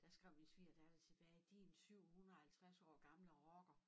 Der skrev min svigerdatter tilbage din 750 år gamle rocker